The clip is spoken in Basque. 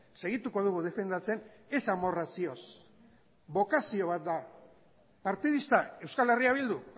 segituko dugu defendatzen ez amorrazioz bokazio bat da partidista euskal herria bildu